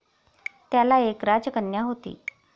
त्याला एक राजकन्या होती.